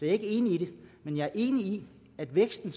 ikke enig i det men jeg er enig i at væksten